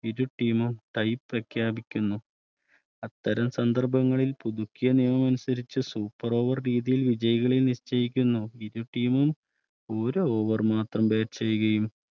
ഇരു Team മും Tie പ്രഖ്യാപിക്കുന്നു അത്തരം സന്ദർഭങ്ങളിൽ പുതുക്കിയ നിയമം അനുസരിച്ച് Super Over രീതിയിൽ വിജയികളെ നിശ്ചയിക്കുന്നു ഇരു Team ഒരു Over മാത്രം Batch ചെയ്യുകയും